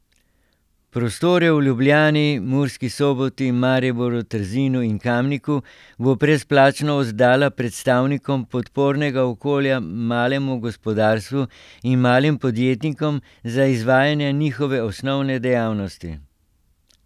Prostore v Ljubljani, Murski Soboti, Mariboru, Trzinu in Kamniku bo brezplačno oddala predstavnikom podpornega okolja malemu gospodarstvu in malim podjetnikom za izvajanje njihove osnovne dejavnosti.